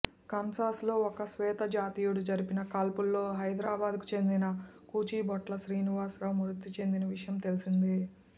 Kansas లో ఓ శ్వేతజాతీయుడు జరిపిన కాల్పుల్లో హైదరాబాద్ కు చెందిన కూచిభొట్ల శ్రీనివాస్ మృతిచెందిన విషయం తెలిసిందే